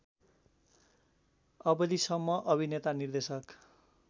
अवधिसम्म अभिनेता निर्देशक